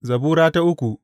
Zabura Sura uku